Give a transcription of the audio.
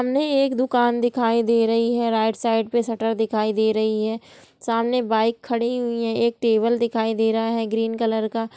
सामने एक दुकान दे रही है राइट साइड पे शटर दिखाई दे रही है| सामने एक बाइक खड़ी हुई है एक टेबुल दिखाई दे रहा है ग्रीन कलर का।